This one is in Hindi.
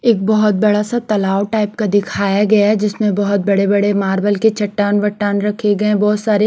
एक बहोत बड़ा सा तालाब टाइप का दिखाया गया है जिसमे बहोत बड़े बड़े मार्बल के चट्टान वटान रखे गये बहोत सारे।